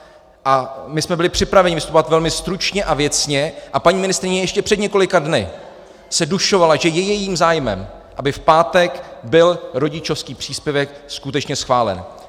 A my jsme byli připraveni vystupovat velmi stručně a věcně, a paní ministryně ještě před několika dny se dušovala, že je jejím zájmem, aby v pátek byl rodičovský příspěvek skutečně schválen.